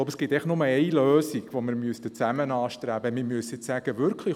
Es gibt nur eine Lösung, und diese sollten wir gemeinsam anstreben.